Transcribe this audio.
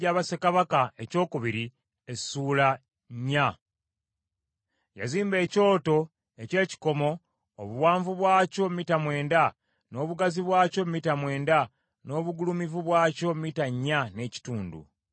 Yazimba ekyoto eky’ekikomo, obuwanvu bwakyo mita mwenda, n’obugazi bwakyo mita mwenda, ng’obugulumivu bwakyo mita nnya n’ekitundu.